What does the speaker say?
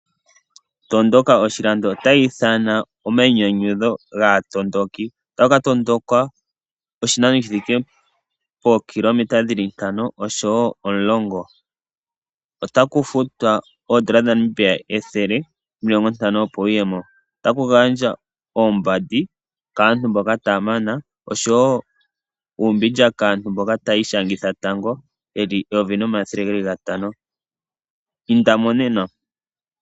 Tondoka oshilando ota ya ithana oma inyanyudho gaatondoki, ota ku katondokwa oshinano shithike pookilometa dhili ntano, oshowoo omulongo. Ota ku futwa oodola dhaNamibia ethele nomilongo ntano opo wuyemo. Otaku kagandjwa oombandi kaantu mboka ta yamana, oshowo uumbindja kaantu mboka ta ya ishangitha tango ye li eyovi nomathele gatano, inda mo nena.